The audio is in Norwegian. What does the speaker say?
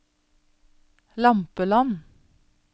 Lampeland